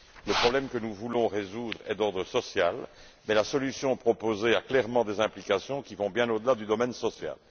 Le problème que nous voulons résoudre est d'ordre social, mais la solution proposée a clairement des implications qui vont bien au delà du domaine social.